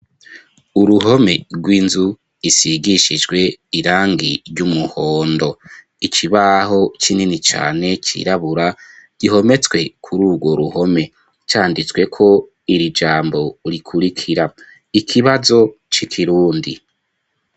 Uruhome rw'inzu, isigishijwe irangi, ry'umuhondo; ikibaho kinini cane, cirabura, gihometswe kuri urwo ruhome; canditsweko iri jambo, rikurikira:" ikibazo c'ikirundi".